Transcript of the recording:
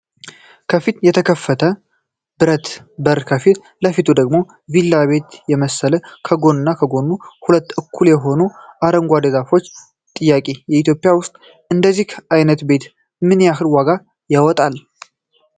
ከፊት የተከፈተ ብረት በር ከፊት ለፊቱ ደግሞ ቪላ ቤት የመሰለ ከጎን ኦና ከጎኑ ሁለት እኩል የሆኑ አረንጓዴ ዛፎች ፤ ጥያቄ :- ኢትዮጵያ ውስጥ እንደዚህ አይነት ቤት ምን ያሕል ዋጋ ያወጣል?